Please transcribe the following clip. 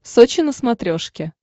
сочи на смотрешке